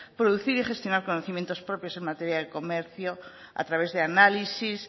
producir y gestionar conocimientos propios en materia de comercio a través de análisis